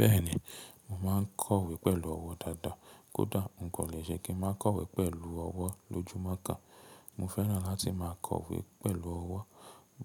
Bẹ́ẹ̀ni, mo máa ń kọ̀wé pẹ̀lú ọwọ́ dáadáa. Kódá, n kò lè ṣẹ́ kí n máa kọ̀wé pẹ̀lú ọwọ́ lójúmọ́ kan. Mo fẹ́ràn láti máa kọ̀wé pẹ̀lú ọwọ́.